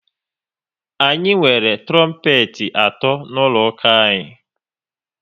Anyị nwere trompet atọ n'ụlọ ụka anyị